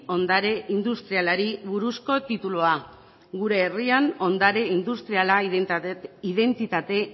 ondare industrialari buruzko titulua gure herrian ondare industriala identitate